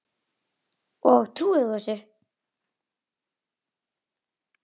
Og trúir þú þessu?